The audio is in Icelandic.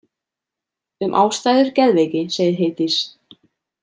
Um ástæður geðveiki segir Heiðdís